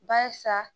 Barisa